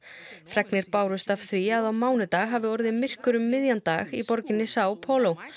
fregnir bárust af því að á mánudag hafi orðið myrkur um miðjan dag í borginni Sao Paulo